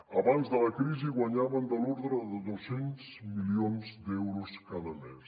abans de la crisi guanyaven de l’ordre de dos cents milions d’euros cada mes